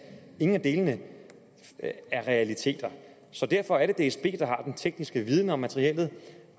ingen af delene er realiteter så derfor er det dsb som har den tekniske viden om materiellet